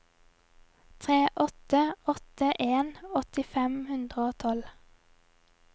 tre åtte åtte en åtti fem hundre og tolv